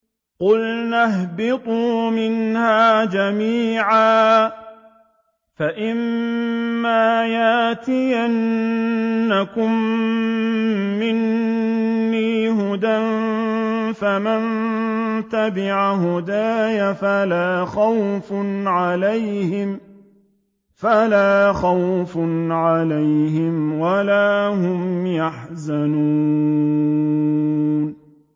قُلْنَا اهْبِطُوا مِنْهَا جَمِيعًا ۖ فَإِمَّا يَأْتِيَنَّكُم مِّنِّي هُدًى فَمَن تَبِعَ هُدَايَ فَلَا خَوْفٌ عَلَيْهِمْ وَلَا هُمْ يَحْزَنُونَ